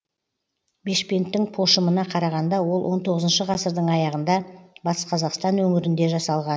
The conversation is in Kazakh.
бешпенттің пошымына қарағанда ол он тоғызыншы ғасырдың аяғында батыс қазақстан өңірінде жасалған